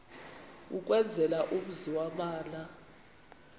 ukwenzela umzi yamana